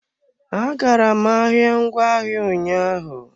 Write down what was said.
Agara m ahịa ngwaahịa ụnyaahụ.